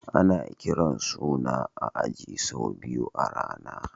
Ana kiran suna a aji sau biyu a rana.